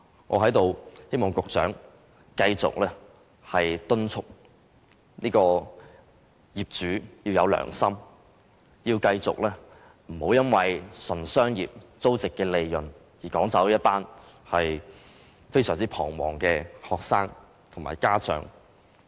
我在此希望局長繼續敦促業主要有良心，不要純粹因為商業上的租值利潤而趕走一群非常彷徨的學生和家長。